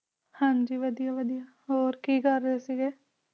ਹਾਂ ਜੀ ਵਧੀਆ ਵਧੀਆ ਹੋਰ ਹੋਰ ਕੀ ਕਰ ਰਹੇ ਸੀਗੇ?